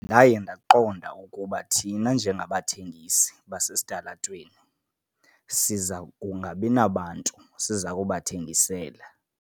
Ndaye ndaqonda ukuba thina njengabathengisi basesitalatweni siza kungabi nabantu siza kubathengisela.